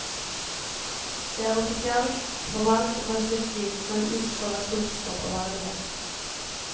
Det er offisielt, formelt og kanskje litt stivt, men utstråler klokskap og verdighet.